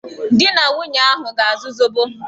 Di na nwunye ahụ ga-azụ zobo.